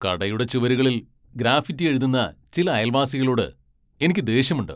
കടയുടെ ചുവരുകളിൽ ഗ്രാഫിറ്റി എഴുതുന്ന ചില അയൽവാസികളോട് എനിക്ക് ദേഷ്യമുണ്ട്.